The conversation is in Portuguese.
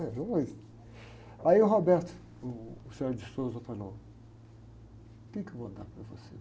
Aí o, o falou, o quê que eu vou dar para você?